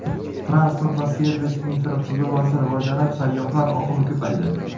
Transport va servis infratuzilmasi rivojlanib, sayyohlar oqimi ko‘paydi.